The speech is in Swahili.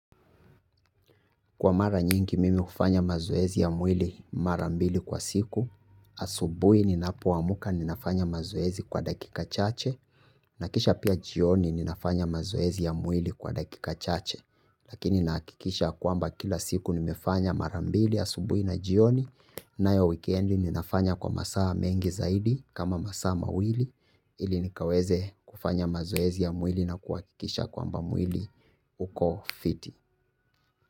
Kwa mara nyingi mimi hufanya mazoezi ya mwili mara mbili kwa siku. Asubuhi ninapoamka ninafanya mazoezi kwa dakika chache. Nakisha pia jioni ninafanya mazoezi ya mwili kwa dakika chache. Lakini nahakikisha kwamba kila siku nimefanya mara mbili asubuhi na jioni. Nayo wikendi ninafanya kwa masaa mengi zaidi kama masaa mawili. Ili nikaweze kufanya mazoezi ya mwili na kuhakikisha kwamba mwili uko fiti.